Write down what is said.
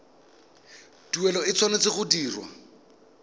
tuelo e tshwanetse go dirwa